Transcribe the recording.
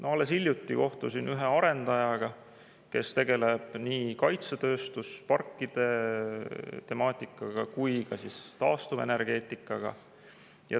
Alles hiljuti kohtusin ühe arendajaga, kes tegeleb nii kaitsetööstusparkide temaatikaga kui ka taastuvenergeetikaga.